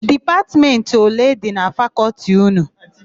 Dipatmentị ole dị na Fakọltị ụnụ?